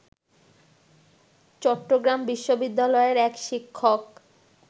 চট্টগ্রাম বিশ্ববিদ্যালয়ের এক শিক্ষক